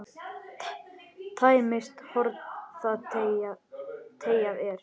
Tæmist horn þá teygað er.